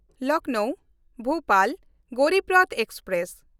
ᱞᱚᱠᱷᱱᱚᱣ–ᱵᱷᱳᱯᱟᱞ Garib Rath express